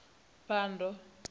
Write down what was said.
phando